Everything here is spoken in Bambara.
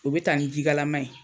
U bɛ ta nin jikalama ye.